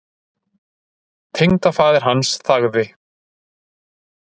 Tengdafaðir hans þagði.